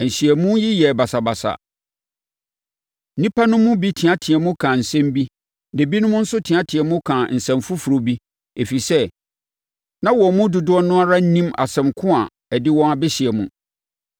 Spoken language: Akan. Nhyiamu yi yɛɛ basabasa; nnipa no mu bi teateaam kaa nsɛm bi, na ebinom nso teaam kaa nsɛm foforɔ bi, ɛfiri sɛ, na wɔn mu dodoɔ no ara nnim asɛm ko a ɛde wɔn abɛhyia mu.